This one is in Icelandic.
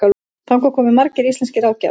Þangað komu margir íslenskir ráðgjafar.